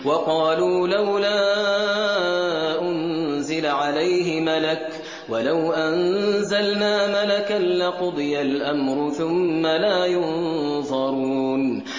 وَقَالُوا لَوْلَا أُنزِلَ عَلَيْهِ مَلَكٌ ۖ وَلَوْ أَنزَلْنَا مَلَكًا لَّقُضِيَ الْأَمْرُ ثُمَّ لَا يُنظَرُونَ